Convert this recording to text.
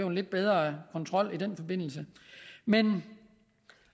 en lidt bedre kontrol i den forbindelse men